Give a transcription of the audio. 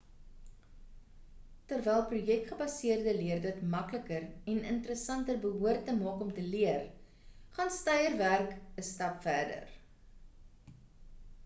terwyl projek gebaseerde leer dit makliker en interessanter behoort te maak om te leer gaan steierwerk 'n stap verder